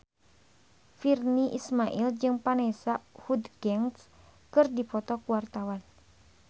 Virnie Ismail jeung Vanessa Hudgens keur dipoto ku wartawan